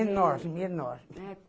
Enorme, enorme.